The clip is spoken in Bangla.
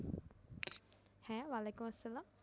হ্যা ওয়ালাইকুম আসসালাম